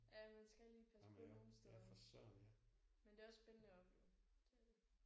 Ja man skal lige passe på nogle steder. Men det er også spændende at opleve det er det